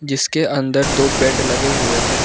इसके अंदर दो बेड लगे हुए हैं।